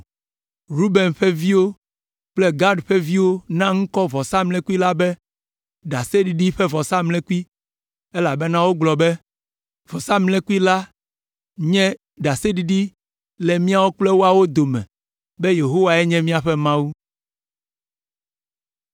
Ruben ƒe viwo kple Gad ƒe viwo na ŋkɔ vɔsamlekpui la be, “Ɖaseɖiɖi ƒe Vɔsamlekpui,” elabena wogblɔ be, “Vɔsamlekpui la nye ɖaseɖiɖi le míawo kple woawo dome be Yehowae nye míaƒe Mawu.”